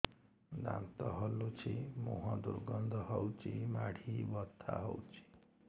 ଦାନ୍ତ ହଲୁଛି ମୁହଁ ଦୁର୍ଗନ୍ଧ ହଉଚି ମାଢି ବଥା ହଉଚି